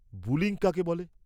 -Bullying কাকে বলে?